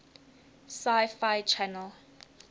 sci fi channel